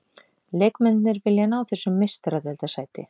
Leikmennirnir vilja ná þessu meistaradeildarsæti.